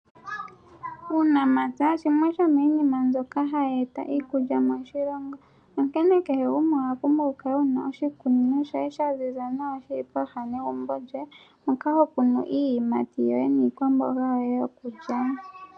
Uunamapya shimwe shomiinima mbyoka hayi eta iikulya moshilongo, onkene kehe gumwe owa pumbwa oku kala ena oshikunino shoye shaziza nawa shili poha negumbo lyoye moka hokunu iiyimati yoye niikwamboga yoye yokulya.